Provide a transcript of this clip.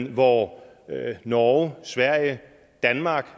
hvor norge sverige og danmark